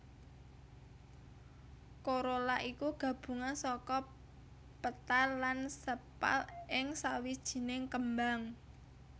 Corolla iku gabungan saka petal lan sepal ing sawijining kembang